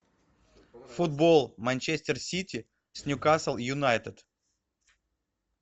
футбол манчестер сити с ньюкасл юнайтед